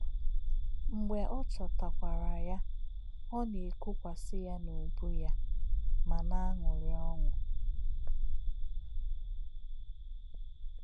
Mḡbé̄ ó̄ chọ̄tà̄wọ̀kwà̄rà̄ yá̄, ó̄ nā̄-èkụ̀kwàsị̀ yá̄ n’ùbù̄ yá̄ mā̄ nā̄-àṅụ̀rí̄ ọ́ṅụ̀.